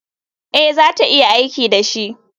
Ee, za ta iya aiki da shi.